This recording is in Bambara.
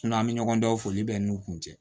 an bɛ ɲɔgɔndanw foli bɛ n'u kun tɛ